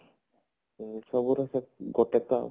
ହଁ ସବୁରେ ସେଇ ଗୋଟେ ତ